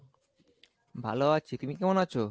ভালো আছি, তুমি কেমন আছো ?